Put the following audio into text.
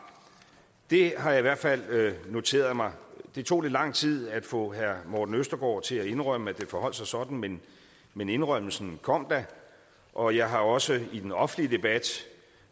det har jeg i hvert fald noteret mig det tog lidt lang tid at få herre morten østergaard til at indrømme at det forholdt sig sådan men men indrømmelsen kom da og jeg har også i den offentlige debat